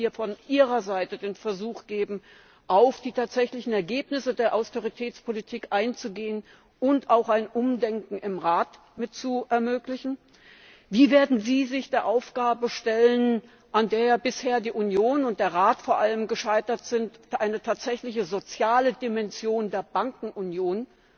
Wird es hier von Ihrer Seite den Versuch geben, auf die tatsächlichen Ergebnisse der Austeritätspolitik einzugehen und auch ein Umdenken im Rat mit zu ermöglichen? Wie werden Sie sich der Aufgabe stellen, an der bisher die Union, und vor allem der Rat, gescheitert sind, eine tatsächliche soziale Dimension der Bankenunion,